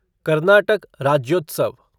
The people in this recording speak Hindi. कर्नाटक राज्योत्सव